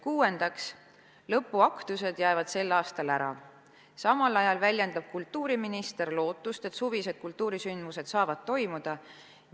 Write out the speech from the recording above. Kuuendaks, lõpuaktused jäävad sel aastal ära, samal ajal väljendab kultuuriminister lootust, et suvised kultuurisündmused saavad toimuda.